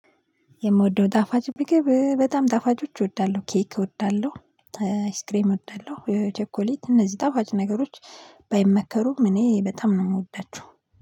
የምወደው ጣፋጭ ምግብ በጣም ጣፋጮች እወዳለሁ ኬክ እወዳለሁ አይስክሬም እወዳለሁ ቸኮሌት እነዚህ ጣፋጭ ነገሮች ባይመከሩም እኔ በጣም ነው የምወዳቸው።